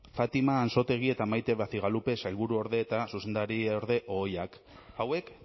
fátima ansotegi eta mayte bacigalupe sailburuorde eta zuzendariorde ohiak hauek